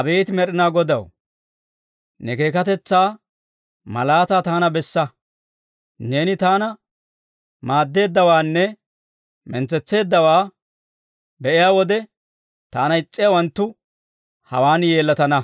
Abeet Med'inaa Godaw, ne keekkatetsaa malaataa taana bessa. Neeni taana maaddeeddawaanne mintsetseeddawaa be'iyaa wode, taana is's'iyaawanttu hewan yeellatana.